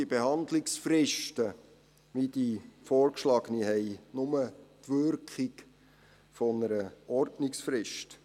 Diese Behandlungsfristen, wie die vorgeschlagene, haben nur die Wirkung einer Ordnungsfrist.